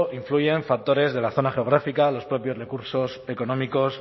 influyen factores de la zona geográfica los propios recursos económicos